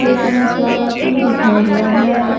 Gate में स्वागतम लिखा हुआ है।